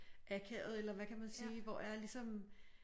Akavet eller hvad kan man sige hvor jeg ligesom